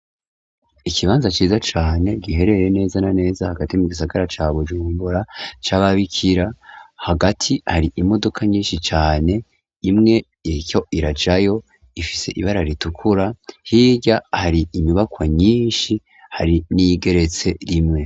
Ikibanza ciza cane gihereye neza na neza hagati mu gisagara ca Bujumbura c'ababikira. Hagati har'imodoka nyinshi cane, imwe iriko irajayo ifise ibara ritukura. Hirya hari inyuibakwa nyinshi, hari n'iyigeretse rimwe.